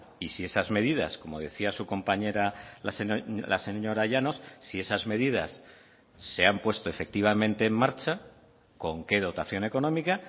y si esas medidas como decía su compañera la señora llanos si esas medidas se han puesto efectivamente en marcha con qué dotación económica